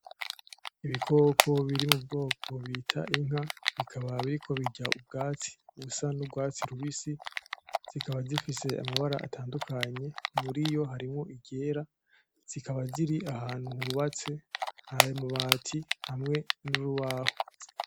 Ibikoko biri mubwoko bita inka, bikaba biriko birya ubwatsi busa nurwatsi rubisi zikaba zifise amabara atandukanye muriyo harimwo iryera zikaba ziri ahantu hubatse hari amabati hamwe n'urubaho.